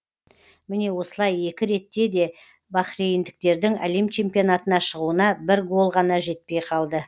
міне осылай екі ретте де бахрейндіктердің әлем чемпионатына шығуына бір гол ғана жетпей қалды